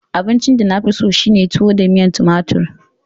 Abincin da na fi so shine tuwo da miyar tumatir.